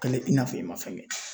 Kale i n'a fɔ i ma fɛn kɛ